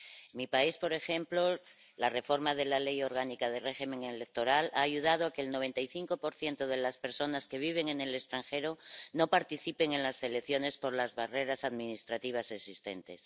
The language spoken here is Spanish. En mi país, por ejemplo, la reforma de la Ley Orgánica de Régimen Electoral ha ayudado a que el 95 de las personas que vive en el extranjero no participe en las elecciones, por las barreras administrativas existentes.